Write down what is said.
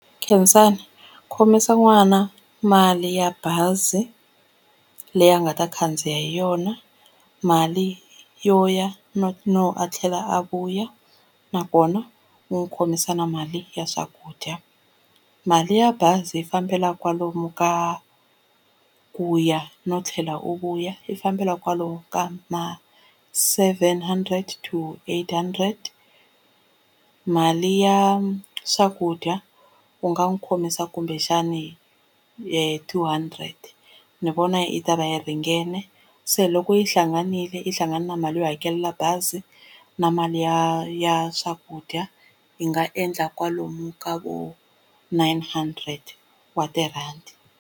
Khensani khomisa n'wana mali ya bazi leyi a nga ta khandziya hi yona mali yo ya no no a tlhela a vuya nakona u ni n'wi khomisa na mali ya swakudya mali ya bazi yi fambela kwalomu ka ku ya no tlhela u vuya yi fambela kwalomu ka ma seven hundred to eight hundred mali ya swakudya u nga n'wi khomisa kumbexani u yi two hundred ni vona yi ta va yi ringene se loko yi hlanganile yi hlangane na mali yo hakela bazi na mali ya ya swakudya yi nga endla kwalomu ka vo nine hundred wa tirhandi.